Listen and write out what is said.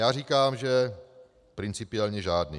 Já říkám, že principiálně žádný.